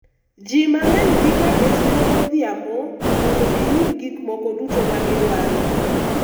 ji mang'eny dhi ga e siro godhiambo mondo giyud gik moko duto magidwaro